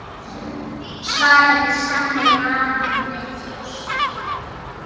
svaraði sami maður með þjósti.